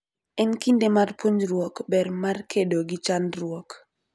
En kinde mar puonjruok ber mar kedo gi chandruok.